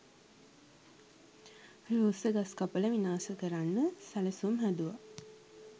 රූස්ස ගස් කපල විනාශ කරන්න සැලසුම් හැදුවා.